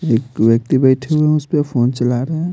एक व्यक्ति बैठे हुए हैं उसपे फोन चला रहा है।